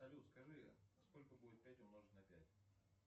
салют скажи сколько будет пять умножить на пять